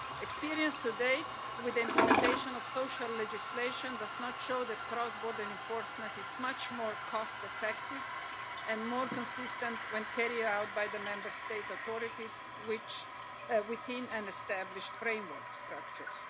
Experience to date with the implementation of social legislation does not show that cross border enforcement is much more cost effective and more consistent when carried out by the Member State authorities within established framework structures.